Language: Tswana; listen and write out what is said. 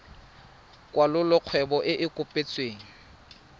kwalolola kgwebo e e kopetsweng